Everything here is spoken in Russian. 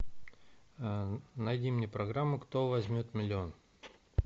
найди мне программу кто возьмет миллион